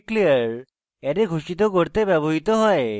declare array ঘোষিত করতে ব্যবহৃত হয়